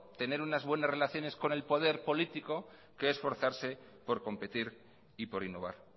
tener unas buenas relaciones con el poder político que esforzarse por competir y por innovar